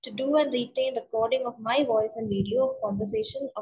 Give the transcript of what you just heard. to do and detailed recording of my voice and video conversation‍